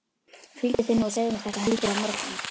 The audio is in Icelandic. Hvíldu þig nú og segðu mér þetta heldur á morgun.